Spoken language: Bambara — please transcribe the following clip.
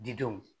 Didenw